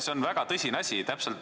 See on väga tõsine asi.